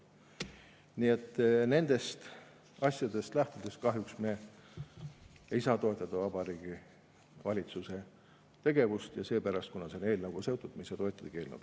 Nii et nendest asjadest lähtudes kahjuks me ei saa toetada Vabariigi Valitsuse tegevust, ja kuna see on eelnõuga seotud, me ei saa toetada ka eelnõu.